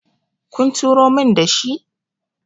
kun turo min da shi?